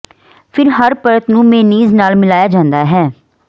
ਫਿਰ ਹਰ ਪਰਤ ਨੂੰ ਮੇਅਨੀਜ਼ ਨਾਲ ਮਿਲਾਇਆ ਜਾਂਦਾ ਹੈ